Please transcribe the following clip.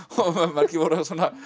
margir voru að